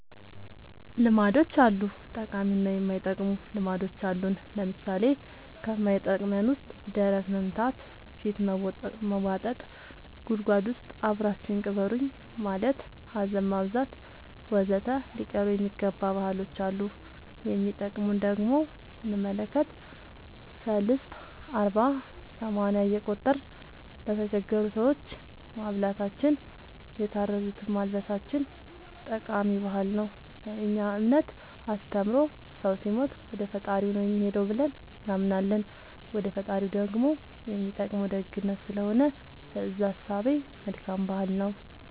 ልማዶች አሉ ጠቃሚ እና የማይጠቅሙ ልማዶች አሉን ለምሳሌ ከማይጠቅመን ውስጥ ደረት መምታ ፊት መቦጠጥ ጉድጎድ ውስጥ አብራችሁኝ ቅበሩኝ ማለት ሀዘን ማብዛት ወዘተ ሊቀሩ የሚገባ ባህሎች አሉ የሚጠቅሙን ደሞ ስንመለከት ሰልስት አርባ ሰማንያ እየቆጠርን ለተቸገሩ ሰዎች ማብላታችን የታረዙትን ማልበሳችን ጠቃሚ ባህል ነው በእኛ እምነት አስተምሮ ሰው ሲሞት ወደፈጣሪው ነው የሚሄደው ብለን እናምናለን ወደ ፈጣሪው ደሞ የሚጠቅመው ደግነት ስለሆነ በእዛ እሳቤ መልካም ባህል ነው